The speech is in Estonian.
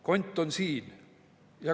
Kont on siin"?